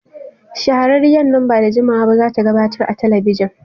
Shahararriyar nan ba da jimawa ba za ta gabatar a talabijin.